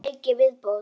Einn leik í viðbót.